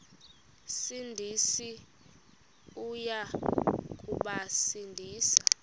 sindisi uya kubasindisa